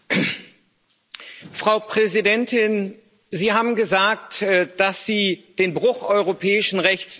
Frau Präsidentin, Sie haben gesagt, dass Sie den Bruch europäischen Rechts nicht tolerieren wollen.